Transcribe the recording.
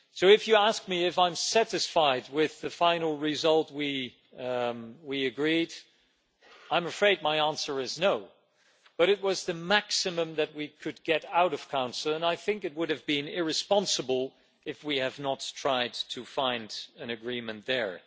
So if you ask me if I am satisfied with the final result we agreed, I'm afraid my answer is no, but it was the maximum that we could get out of the Council and I think it would have been irresponsible if we had not tried to find an agreement there.